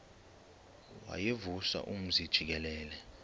wayevusa umzi jikelele